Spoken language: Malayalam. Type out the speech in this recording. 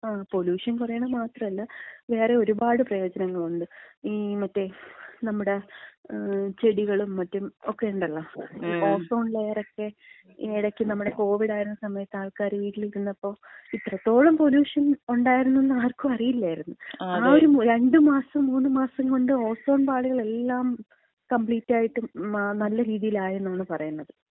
പൊലൂഷൻ കുറയണത് മാത്രമല്ല, വേറെ ഒരുപാട് പ്രയോജനങ്ങളുണ്ട്. ഈ മറ്റേ, നമ്മുട ചെടികളും മറ്റും ഒക്കെ ഉണ്ടല്ലോ. ഓസോൺ ലെയറക്ക ഈയിടെക്ക് നമ്മട കോവിഡായിരുന്ന സമയത്ത് ആൾക്കാര് വീട്ടിലിരുന്നപ്പം, ഇത്രത്തോളം പൊലൂഷൻ ഉണ്ടായിരുന്നന്ന് ആർക്കും അറിയില്ലായിരുന്നു. ആ ഒരു രണ്ടുമാസം മൂന്നുമാസം കൊണ്ട് ഓസോൺ പാളികളെല്ലാം കംപ്ലീറ്റായിട്ട് നല്ല രീതിയിലായെന്നാണ് പറയുന്നത്.